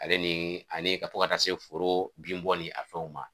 Ale ni ani ka to ka taa se foro bin bɔ ni a fɛnw ma